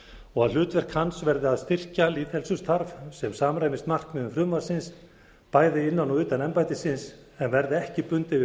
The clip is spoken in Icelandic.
og að hlutverk hans verði að styrkja lýðheilsustarf sem samræmist markmiðum frumvarpsins bæði innan og utan embættisins en verði ekki bundið við